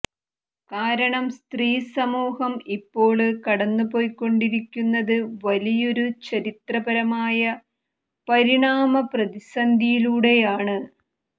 കാരണം സ്ത്രീ സമൂഹം ഇപ്പോള് കടന്നുപോയ്കൊണ്ടിരിക്കുന്നത് വലിയൊരു ചരിത്രപരമായ പരിണാമ പ്രതിസന്ധിയിലൂടെയാണ്